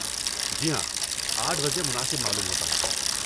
جی ہاں، آٹھ بجے مناسب معلوم ہوتا ہے۔